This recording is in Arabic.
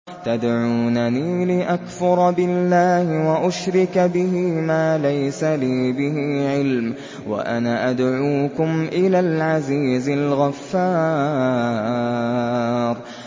تَدْعُونَنِي لِأَكْفُرَ بِاللَّهِ وَأُشْرِكَ بِهِ مَا لَيْسَ لِي بِهِ عِلْمٌ وَأَنَا أَدْعُوكُمْ إِلَى الْعَزِيزِ الْغَفَّارِ